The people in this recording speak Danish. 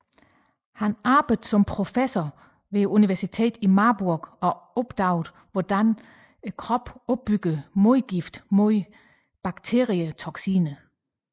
Han arbejdede som professor ved universitetet i Marburg og opdagede hvordan kroppen opbygger modgifte imod bakterietoksiner